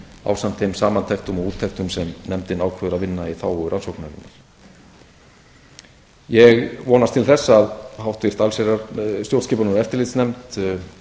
ásamt þeim samantektum og úttektum sem nefndin ákveður að vinna í þágu rannsóknarinnar ég vonast til þess að háttvirtrar stjórnskipunar og